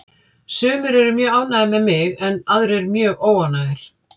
Sumir eru mjög ánægðir með mig en aðrir mjög óánægðir.